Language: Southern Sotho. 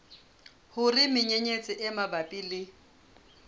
hore menyenyetsi e mabapi le